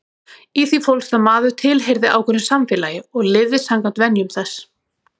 Í því fólst að maður tilheyrði ákveðnu samfélagi og lifði samkvæmt venjum þess.